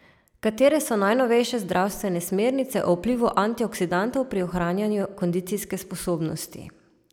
Katere so najnovejše zdravstvene smernice o vplivu antioksidantov pri ohranjanju kondicijske sposobnosti?